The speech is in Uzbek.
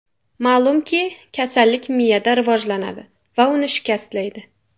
Ma’lumki, kasallik miyada rivojlanadi va uni shikastlaydi.